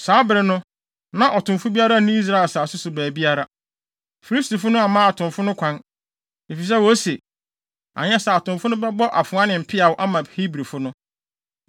Saa bere no, na ɔtomfo biara nni Israel asase no so baabiara. Filistifo no amma atomfo no kwan, efisɛ wose, “Anyɛ saa a atomfo no bɛbɔ afoa ne mpeaw ama Hebrifo no.”